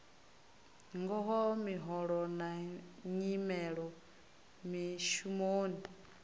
ngaho miholo na nyimelo mishumoni